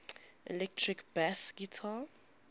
electric bass guitar